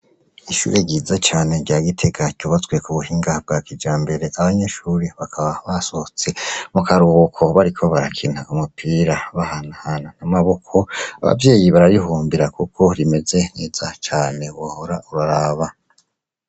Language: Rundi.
Ishure ryiza cane rya gitega ryubatswe k'ubuhinga bwa kijambere, abanyeshure bakaba basohotse mukaruhuko bariko bakina umupira bahanahana n'amaboko, abavyeyi bararihurumbira kuko rimeze neza cane wohora uraraba.